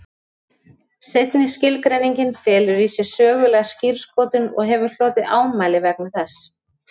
Seinni skilgreiningin felur í sér sögulega skírskotun og hefur hlotið ámæli vegna þess.